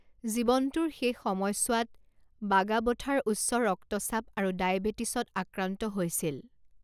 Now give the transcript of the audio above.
জীৱনটোৰ শেষ সময়ছোৱাত বাগাবথাৰ উচ্চ ৰক্তচাপ আৰু ডায়বেটিছত আক্ৰান্ত হৈছিল।